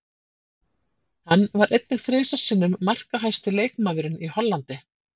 Hann var einnig þrisvar sinnum markahæsti leikmaðurinn í Hollandi.